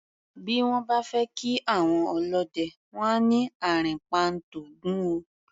Bí wọ́n bá fẹ́ kí àwọn ọlọ́dẹ, wọ́n á ní "àrìnpa ń t'Ògún o".